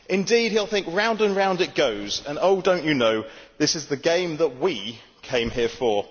Indeed, he will think Round and round it goes, And oh don't you know, This is the game that we came here for.